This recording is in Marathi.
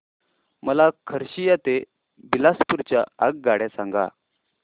मला खरसिया ते बिलासपुर च्या आगगाड्या सांगा